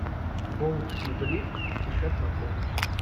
болт и блип спешат на помощь